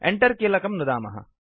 Enter कीलकं नुदामः